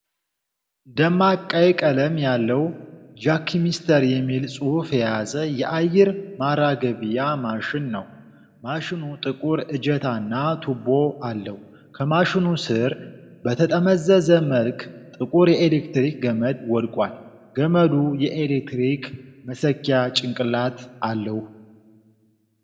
ደማቅ ቀይ ቀለም ያለው፣ ጃክሚስተር የሚል ጽሑፍ የያዘ የአየር ማራገቢያ ማሽን ነው። ማሽኑ ጥቁር እጀታና ቱቦ አለው። ከማሽኑ ስር በተጠመዘዘ መልክ ጥቁር የኤሌክትሪክ ገመድ ወድቋል። ገመዱ የኤሌክትሪክ መሰኪያ ጭንቅላት አለው።